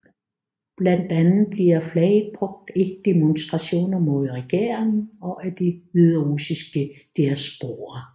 Blandt andet bliver flaget brugt i demonstrationer mod regeringen og af den hviderussiske diaspora